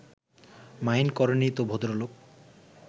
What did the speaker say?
mind করেননি তো ভদ্রলোক